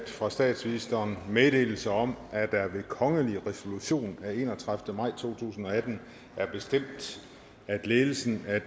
fra statsministeren meddelelse om at der ved kongelig resolution af enogtredivete maj to tusind og atten er bestemt at ledelsen af